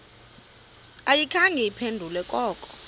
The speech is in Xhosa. ayikhange iphendule koko